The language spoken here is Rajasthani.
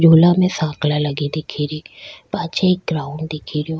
झूला में सांकला लगी दिखेरी पाछे एक ग्राउंड दिखेरयो।